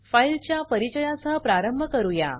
files च्या परिचया सह प्रारंभ करूया